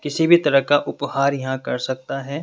किसी भी तरह का उपहार यहां कर सकता है।